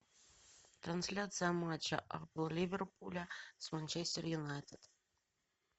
трансляция матча апл ливерпуля с манчестер юнайтед